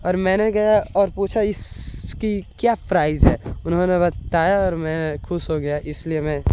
और मैं गया और पूछा इसकी क्या प्राइस है। उन्होंने बताया और मैं खुश हो गया इसलिए मैं--